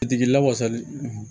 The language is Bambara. Tigilawasali